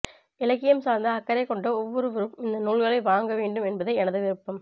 இலக்கியம் சார்ந்த அக்கறை கொண்ட ஒவ்வொருவரும் இந்த நூல்களை வாங்க வேண்டும் என்பதே எனது விருப்பம்